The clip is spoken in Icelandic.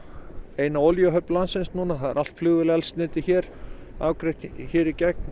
eina olíuhöfn landsins núna það er allt flugvélaeldsneyti afgreitt hérna í gegn